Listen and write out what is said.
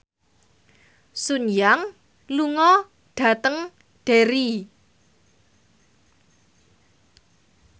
Sun Yang lunga dhateng Derry